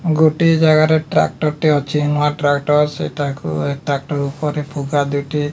ଗୋଟିଏ ଜାଗାରେ ଟ୍ରାକ୍ଟର୍ ଟେ ଅଛି ନୂଆ ଟ୍ରାକ୍ଟର ସେଟାକୁ ଏ ଟ୍ରାକ୍ଟର୍ ଉପରେ ଫୁକା ଦୁଇଟି --